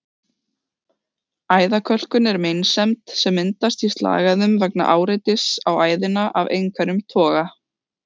Æðakölkun er meinsemd sem myndast í slagæðum vegna áreitis á æðina af einhverjum toga.